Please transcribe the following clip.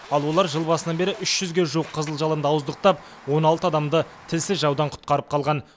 ал олар жыл басынан бері үш жүзге жуық қызыл жалынды ауыздықтап он алты адамды тілсіз жаудан құтқарып қалған